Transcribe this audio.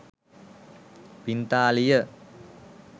පිංතාලිය